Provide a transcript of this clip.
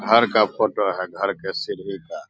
घर का फोटो है घर के सीढ़ी का।